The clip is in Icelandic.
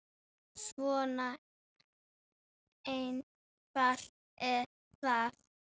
Svona einfalt er það.